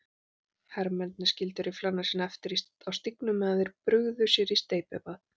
Hermennirnir skildu rifflana sína eftir á stígnum meðan þeir brugðu sér í steypibað.